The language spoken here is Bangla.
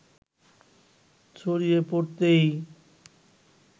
ছড়িয়ে পড়তেই